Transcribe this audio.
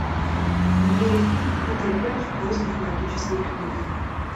набери фильм питер пэн в поисках магической книги